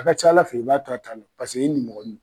A ka c'Ala fɛ i b'a to a ta la paseke i nimɔgɔinin no.